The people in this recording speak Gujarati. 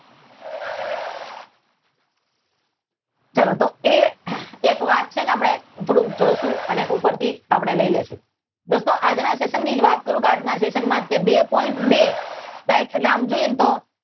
ચાલો એક એ વાત છે ને આપડે થોડું જોશું અને ઉપર થી આપડે લઈ લઈશું દોસ્તો આપડે આજના સેશન ની વાત કરું તો આજના સેશન માટે ટુ પોઈન્ટ ટુ રાઇટ આમ જોઈએ ને તો